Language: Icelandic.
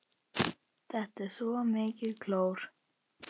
Þetta er svo mikið klór.